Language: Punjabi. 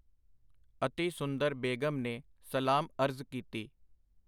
ਅਤਿ ਸੁੰਦਰ ਬੇਗ਼ਮ ਨੇ ਸਲਾਮ ਅਰਜ਼ ਕੀਤੀ.